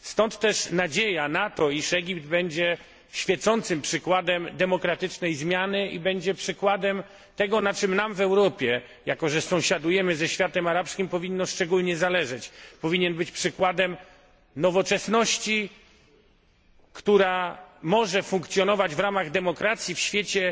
Stąd też nadzieja na to, iż Egipt będzie świecącym przykładem demokratycznej zmiany i będzie przykładem tego, na czym nam w Europie jako że sąsiadujemy ze światem arabskim powinno szczególnie zależeć Egipt powinien być przykładem nowoczesności, która może funkcjonować w ramach demokracji w świecie